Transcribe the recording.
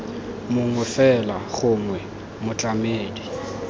mongwe fela gongwe b motlamedi